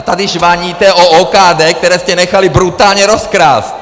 A tady žvaníte o OKD, které jste nechali brutálně rozkrást!